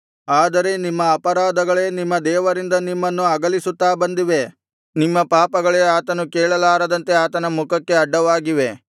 ಆದರೆ ನಿಮ್ಮ ಅಪರಾಧಗಳೇ ನಿಮ್ಮ ದೇವರಿಂದ ನಿಮ್ಮನ್ನು ಅಗಲಿಸುತ್ತಾ ಬಂದಿವೆ ನಿಮ್ಮ ಪಾಪಗಳೇ ಆತನು ಕೇಳಲಾರದಂತೆ ಆತನ ಮುಖಕ್ಕೆ ಅಡ್ಡವಾಗಿವೆ